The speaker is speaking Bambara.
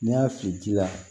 N'i y'a fili ji la